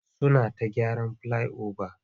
Suna ta gyaran filai-oba.